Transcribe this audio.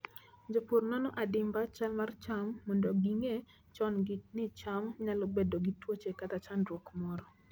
Jopur nono adimba chal mar cham mondo ging'e chon ni cham nyalo bedo gi tuoche kata chandruok moro.